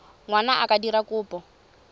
ngwana a ka dira kopo